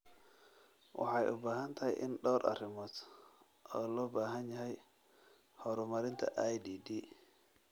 Waxay u badan tahay in dhowr arrimood loo baahan yahay horumarinta IDD.